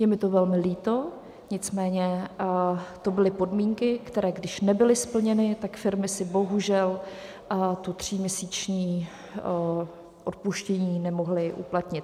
Je mi to velmi líto, nicméně to byly podmínky, které když nebyly splněny, tak firmy si bohužel to tříměsíční odpuštění nemohly uplatnit.